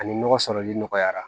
Ani nɔgɔ sɔrɔli nɔgɔyara